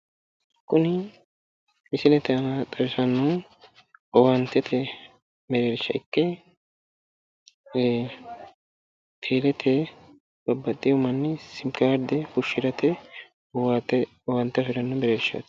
Kuni misilete aana xawisannohu owaantete mereersha ikke teelete babbaxxiwo manni simi kaarde fushshirate owaante afiranno mereershi.